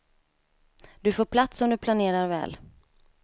Du får plats om du planerar väl.